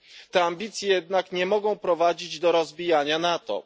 Te ambicje jednak nie mogą prowadzić do rozbijania NATO.